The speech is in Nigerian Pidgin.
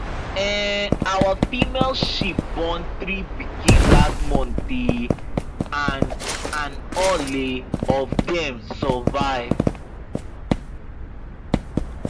um our female sheep born three pikin last month um and and all um of dem survive